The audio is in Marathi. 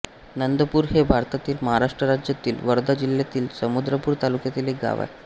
नंदपूर हे भारतातील महाराष्ट्र राज्यातील वर्धा जिल्ह्यातील समुद्रपूर तालुक्यातील एक गाव आहे